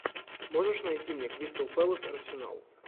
можешь найти мне кристал пэлас арсенал